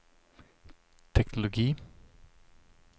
teknologi